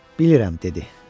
Bilirəm, dedi.